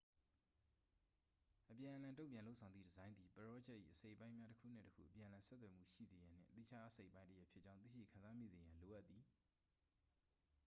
အပြန်အလှန် တု့န်ပြန်လုပ်ဆောင်သည့် ဒီဇိုင်းသည် ပရောဂျက်၏ အစိတ်အပိုင်းများ တစ်ခုနှင့် တစ်ခု အပြန်အလှန် ဆက်သွယ်မှုရှိရန်နှင့် သီးခြားအစိတ်အပိုင်းတစ်ရပ်ဖြစ်ကြောင်း သိရှိခံစားမိစေရန် လိုအပ်သည်